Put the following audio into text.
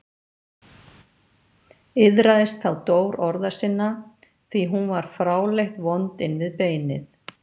Iðraðist þá Dór orða sinna, því hún var fráleitt vond inn við beinið.